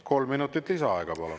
Kolm minutit lisaaega, palun.